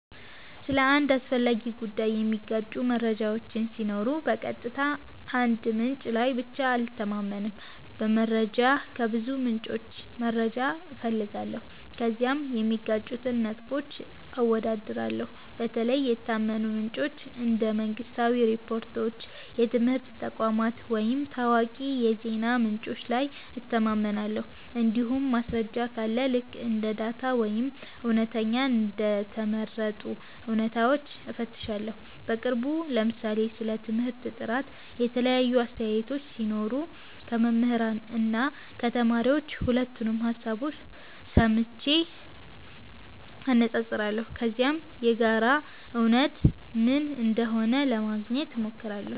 ስለ አንድ አስፈላጊ ጉዳይ የሚጋጩ መረጃዎች ሲኖሩ በቀጥታ አንድ ምንጭ ላይ ብቻ አልተማመንም። በመጀመሪያ ከብዙ ምንጮች መረጃ እፈልጋለሁ፣ ከዚያም የሚጋጩትን ነጥቦች አወዳድራለሁ። በተለይ የታመኑ ምንጮች እንደ መንግሥታዊ ሪፖርቶች፣ የትምህርት ተቋማት ወይም ታዋቂ የዜና ምንጮች ላይ እተማመናለሁ። እንዲሁም ማስረጃ ካለ ልክ እንደ ዳታ ወይም እውነተኛ እንደ ተመረጡ እውነታዎች እፈትሻለሁ። በቅርቡ ለምሳሌ ስለ ትምህርት ጥራት የተለያዩ አስተያየቶች ሲኖሩ ከመምህራን እና ከተማሪዎች ሁለቱንም ሀሳብ ሰምቼ አነፃፅራለሁ። ከዚያም የጋራ እውነት ምን እንደሆነ ለማግኘት ሞክራለሁ።